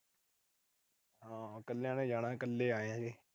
ਹਾਂ। ਕੱਲਿਆ ਨੇ ਜਾਣਾ, ਕੱਲੇ ਆਏ ਆ।